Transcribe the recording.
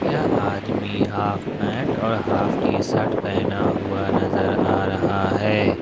यह आदमी half pant और हाफ टी शर्ट पहेना हुआ नजर आ रहा है।